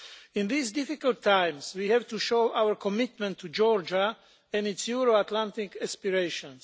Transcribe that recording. In these difficult times we have to show our commitment to Georgia and its Euro Atlantic aspirations.